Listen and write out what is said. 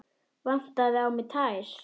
Vantaði á mig tær?